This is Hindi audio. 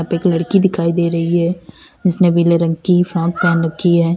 यहां पे लड़की दिखाई दे रही है जिसने पीले रंग की फ्रॉक पहन रखी है।